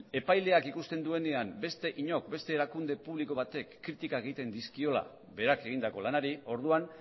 epaileak ikusten duenean beste inork beste erakunde publiko batek kritikak egiten dizkiola berak egindako lanari orduan